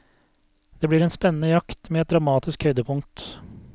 Det blir en spennende jakt, med et dramatisk høydepunkt.